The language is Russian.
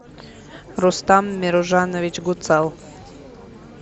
рустам миружанович гуцал